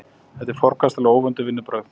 Þetta eru forkastanleg og óvönduð vinnubrögð